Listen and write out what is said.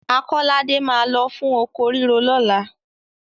Akọ́ládé máa lọ fún oko ríro lọ́la.